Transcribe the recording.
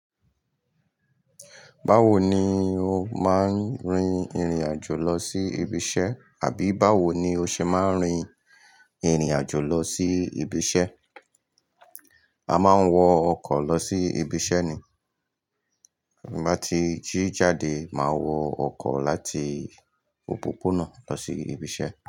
Báwo ni o máa ń rin ìrìn àjò lọ sí ibi iṣẹ́ àbí báwo ni o ṣe máa ń rin ìrìn àjò lọ sí ibi iṣẹ́? A máa ń wọ ọkọ̀ lọ sí ibi iṣẹ́ ni. Bí mo bá ti jí jáde, màá wọ ọkọ̀ láti òpópónà lọ sí ibi iṣẹ́.